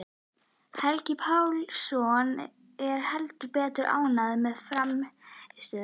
Helgi Pálsson er heldur betur ánægður með frammistöðuna.